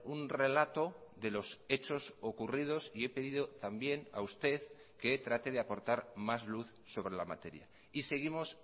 un relato de los hechos ocurridos y he pedido también a usted que trate de aportar más luz sobre la materia y seguimos